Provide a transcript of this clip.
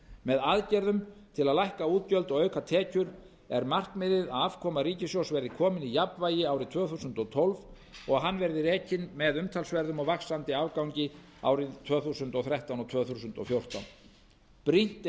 með aðgerðum til að lækka útgjöld og auka tekjur er markmiðið að afkoma ríkissjóðs verði komin í jafnvægi árið tvö þúsund og tólf og að hann verði rekinn með umtalsverðum og vaxandi afgangi árin tvö þúsund og þrettán og tvö þúsund og fjórtán brýnt